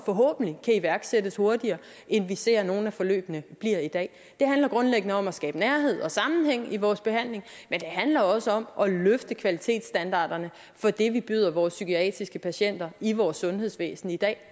kan iværksættes hurtigere end vi ser nogle af forløbene blive i dag det handler grundlæggende om at skabe nærhed og sammenhæng i vores behandling men det handler også om at løfte kvalitetsstandarderne for det vi byder vores psykiatriske patienter i vores sundhedsvæsen i dag